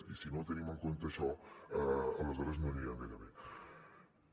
i si no tenim en compte això aleshores no anirem gaire bé